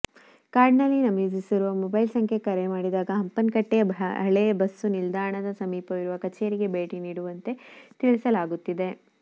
ಕಾರ್ಡ್ನಲ್ಲಿ ನಮೂದಿಸಿರುವ ಮೊಬೈಲ್ ಸಂಖ್ಯೆಗೆ ಕರೆ ಮಾಡಿದಾಗ ಹಂಪನಕಟ್ಟೆಯ ಹಳೆ ಬಸ್ಸು ನಿಲ್ದಾಣದ ಸಮೀಪವಿರುವ ಕಚೇರಿಗೆ ಭೇಟಿ ನೀಡುವಂತೆ ತಿಳಿಸಲಾಗುತ್ತಿದೆ